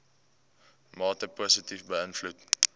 mate positief beïnvloed